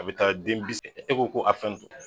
A bi taa den bi sab e ko ko a fɛn dun